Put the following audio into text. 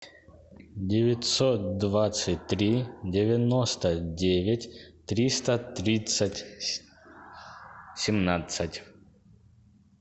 девятьсот двадцать три девяносто девять триста тридцать семнадцать